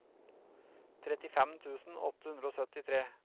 trettifem tusen åtte hundre og syttitre